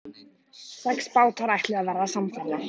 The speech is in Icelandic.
Meira hvað þær falla fyrir honum!